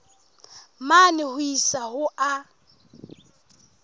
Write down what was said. mane ho isa ho a